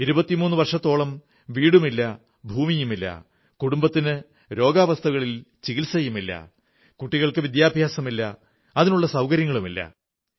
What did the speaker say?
23 വർഷത്തോളം വീടുമില്ല ഭൂമിയുമില്ല കുടുംബത്തിന് രോഗാവസ്ഥകളിൽ ചികിത്സയില്ല കുട്ടികൾക്ക് വിദ്യാഭ്യാസമില്ല അതിനുള്ള സൌകര്യങ്ങളുമില്ല